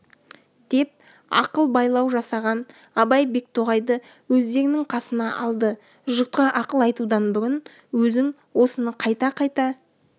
деп ақыл байлау жасаған абай бектоғайды өздерінің қасына алды жұртқа ақыл айтудан бұрын өзің осыны қайта-қайта